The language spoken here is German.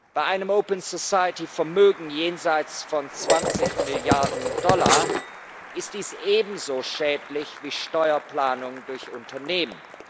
Bei einem Open Society Vermögen jenseits von 20 Milliarden Dollar ist dies ebenso schädlich wie Steuerplanung durch Unternehmen.